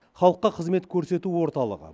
халыққа қызмет көрсету орталығы